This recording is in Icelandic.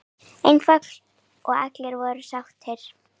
Einfalt og allir voða sáttir!